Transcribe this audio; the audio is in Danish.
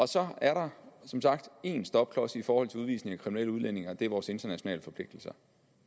så er der som sagt én stopklods i forhold til udvisning af kriminelle udlændinge og det er vores internationale forpligtelser